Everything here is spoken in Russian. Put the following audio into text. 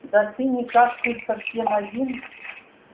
да ты никак тут совсем один